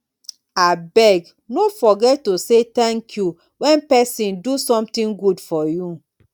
abeg no forget to say thank you when person do something good for you